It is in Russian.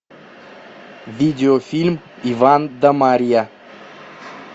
видеофильм иван да марья